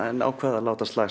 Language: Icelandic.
en ákvað að láta slag